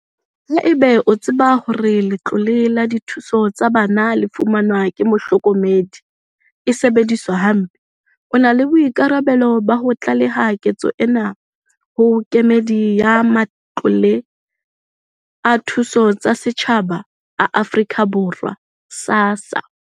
Haeba o tseba hore letlole la dithuso tsa bana le fumanwang ke mohlokomedi e sebediswa hampe, o na le boikarabelo ba ho tlaleha ketso ena ho Kemedi ya Matlole a Dithuso tsa Setjhaba a Afrika Borwa SASSA.